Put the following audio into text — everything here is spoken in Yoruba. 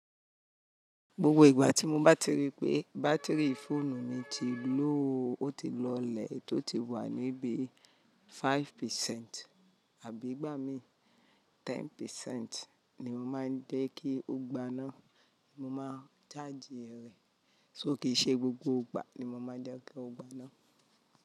Gbogbo ìgbà tí mo bá ti rí pé bátìrì fóònù mi ti low o, ó ti lọlẹ̀, tó ti wà níbí 5% àbí ìgbà mí 10% ni mo máa ń jẹ́ kí ó gbaná, mo máa ṣáàjì rẹ̀. So kì í ṣe gbogbo ìgbà ni mo máa jẹ́ kí ó gbaná.